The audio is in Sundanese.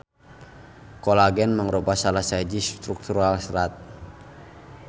Kolagen mangrupa salah sahiji struktural serat.